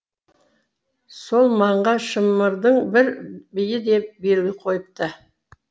сол маңға шымырдың бір биі де белгі қойыпты